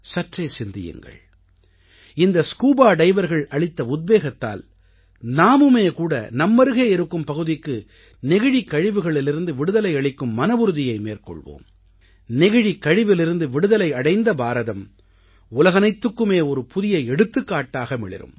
சற்றே சிந்தியுங்கள் இந்த ஸ்கூபா டைவர்கள் அளித்த உத்வேகத்தால் நாமுமே கூட நம்மருகே இருக்கும் பகுதிக்கு நெகிழிக் கழிவுகளிலிருந்து விடுதலை அளிக்கும் மனவுறுதியை மேற்கொள்வோம் நெகிழிக் கழிவிலிருந்து விடுதலை அடைந்த பாரதம் உலகனைத்துக்குமே ஒரு புதிய எடுத்துக்காட்டாக மிளிரும்